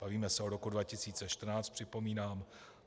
Bavíme se o roku 2014, připomínám.